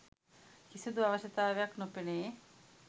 කිසිදු අවශ්‍යතාවයක් නොපෙනේ.